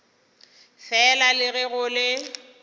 fela le ge go le